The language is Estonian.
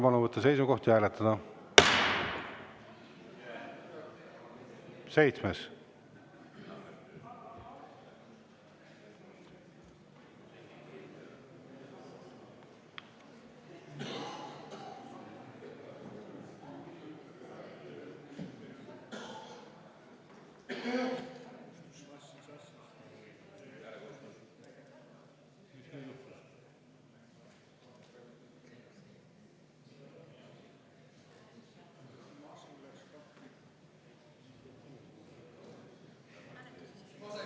Palun võtta seisukoht ja hääletada!